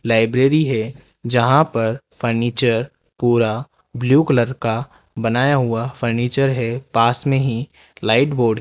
library है जहां पर फर्नीचर पूरा ब्लू कलर का बनाया हुआ फर्नीचर है पास में ही लाइट बोर्ड --